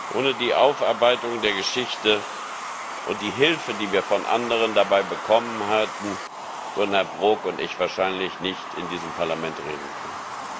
Ohne die Aufarbeitung der Geschichte und die Hilfe, die wir von anderen dabei bekommen haben, würden Herr Brok und ich wahrscheinlich nicht in diesem Parlament reden können.